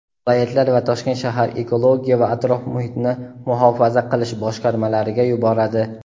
viloyatlar va Toshkent shahar ekologiya va atrof-muhitni muhofaza qilish boshqarmalariga yuboradi.